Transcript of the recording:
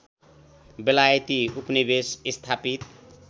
बेलायती उपनिवेश स्थापित